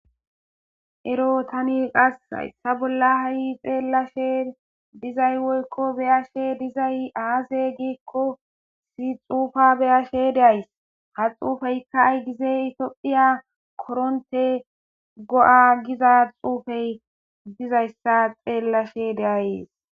Ero tani haysa bolla xelashe woyiko be'ashe dizayis aze giiko issi xupeya be'ashe de'ays ha xupeyika ayigize giiko topheya korontey go'a imiza xuppe xelashe de'ayis